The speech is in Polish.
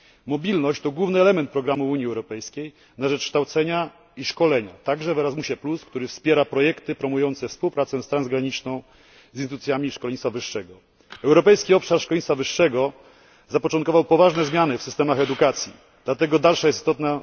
Mobilność to główny element programu Unii Europejskiej na rzecz kształcenia i szkolenia, a także Erasmusa, który wspiera projekty promujące współpracę transgraniczną z instytucjami szkolnictwa wyższego. Europejski obszar szkolnictwa wyższego zapoczątkował poważne zmiany w systemach edukacji, dlatego dalsza jest istotna...